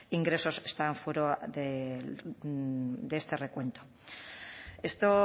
ingresos estaban fuera de este recuento esto